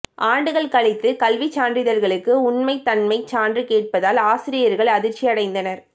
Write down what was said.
ஆண்டுகள் கழித்து கல்விச்சான்றிதழ்களுக்கு உண்மைத் தன்மை சான்று கேட்பதால் ஆசிரியர்கள் அதிர்ச்சி அடைந்தனர்